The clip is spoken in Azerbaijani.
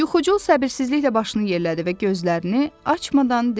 Yuxucul səbirsizliklə başını yerlədi və gözlərini açmadan dedi.